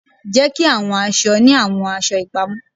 Jeki awọn aṣọ ni awọn aṣọ ipamọ